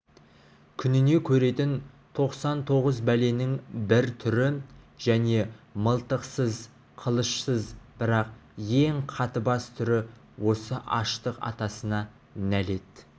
күніне көретін тоқсан тоғыз бәленің бір түрі және мылтықсыз қылышсыз бірақ ең қатыбас түрі осы аштық атасына нәлет